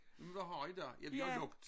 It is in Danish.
Jamen hvad har i da ja vi har lukket